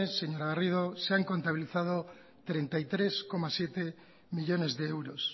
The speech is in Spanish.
señora garrido se han contabilizado treinta y tres coma siete millónes de euros